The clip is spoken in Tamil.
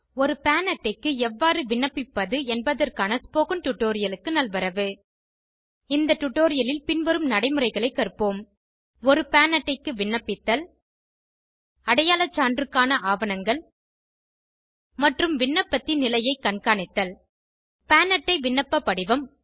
ஒரு பான் அட்டைக்கு எவ்வாறு விண்ணப்பிப்பது என்பதற்கான ஸ்போகன் டுடோரியலுக்கு நல்வரவு இந்த டுடோரியலில் பின்வரும் நடைமுறைகளை கற்போம் ஒரு பான் அட்டைக்கு விண்ணப்பித்தல் அடையாள சான்றுக்கான ஆவணங்கள் மற்றும் விண்ணப்பத்தின் நிலையை கண்காணித்தல் பான் அட்டை விண்ணப்ப படிவம்